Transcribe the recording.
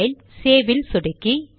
file save இல் சொடுக்கி